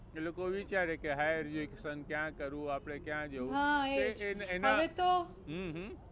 એ લોકો વિચારે કે higher education ક્યાં કરવું, આપણે ક્યાં જવું તો એના હમ હમ